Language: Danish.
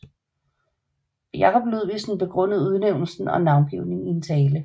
Jacob Ludvigsen begrundede udnævnelsen og navngivningen i en tale